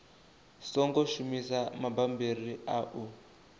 songo shumisa mabammbiri a u